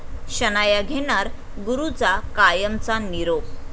शनाया घेणार गुरूचा कायमचा निरोप